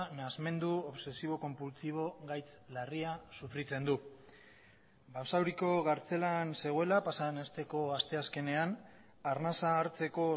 nahasmendu obsesibo konpultsibo gaitz larria sufritzen du basauriko kartzelan zegoela pasaden asteko asteazkenean arnasa hartzeko